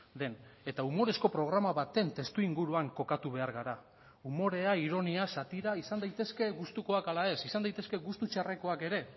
den eta umorezko programa baten testuinguruan kokatu behar gara umorea ironia satira izan daitezke gustukoak ala ez izan daitezke gustu txarrekoak ere